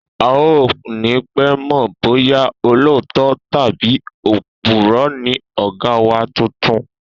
A ò ní pé̩ mò̩ bóyá olóòótó̩ tàbí òpùró̩ ni ò̩gá wa tuntun